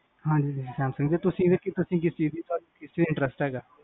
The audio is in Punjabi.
ਹਾਂਜੀ ਸੈਮਸੰਗ ਦੀ, ਤੁਸੀਂ ਕੀਤੀ ਸੀ, ਤੁਸੀਂ, ਕਿਸ ਚ interest ਹੈਗਾ